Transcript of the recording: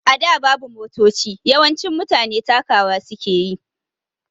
A da babu Motoci, yawancin mutane takawa suke yi